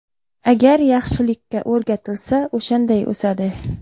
Agar yaxshilikka o‘rgatilsa, o‘shanday o‘sadi.